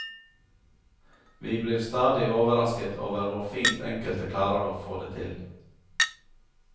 Vi blir stadig overrasket over hvor fint enkelte klarer å få det til.